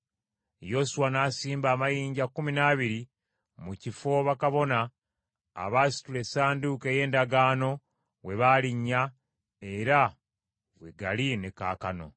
Yoswa n’asimba amayinja kkumi n’abiri mu kifo bakabona abaasitula Essanduuko ey’Endagaano we baalinnya era we gali ne kaakano.